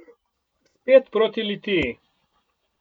Spet proti Litiji.